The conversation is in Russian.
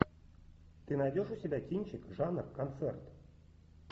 ты найдешь у себя кинчик жанр концерт